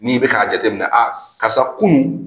N'i bɛ ka jateminɛ a karisa kunun